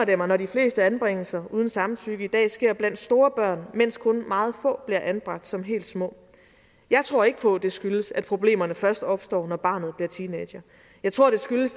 det mig når de fleste anbringelser uden samtykke i dag sker blandt store børn mens kun meget få bliver anbragt som helt små jeg tror ikke på at det skyldes at problemerne først opstår når barnet bliver teenager jeg tror det skyldes